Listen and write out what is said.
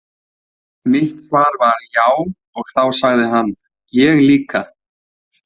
Mitt svar var já og þá sagði hann: Ég líka.